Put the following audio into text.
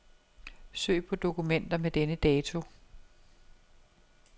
Søg på dokumenter med denne dato.